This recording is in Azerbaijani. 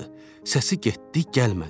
Səsi getdi, gəlmədi.